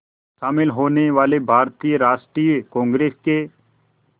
शामिल होने वाले भारतीय राष्ट्रीय कांग्रेस के